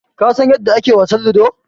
Ka san yanda ake wasan Ludo?